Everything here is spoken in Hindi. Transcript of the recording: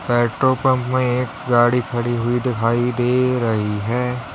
पेट्रोल पंप में एक गाड़ी खड़ी हुई दिखाई दे रही है।